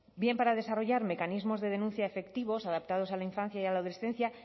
bien para desarrollar mecanismos de denuncia efectivos adaptados a la infancia y a la adolescencia